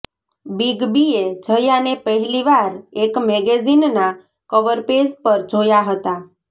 big બીએ જયાને પહેલી વાર એક મેગેઝીનના કવરપેજ પર જોયા હતા